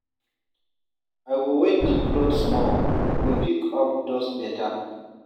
I go wet di cloth small, e go pick up dust beta.